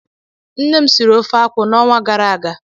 Nne m siri ofe akwụ n'ọnwa gara aga